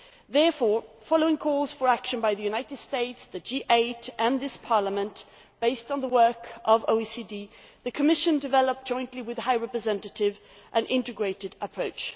Therefore, following calls for action by the United States, the G8 and this Parliament, based on the work of the OECD, the Commission developed, jointly with the High Representative, an integrated approach.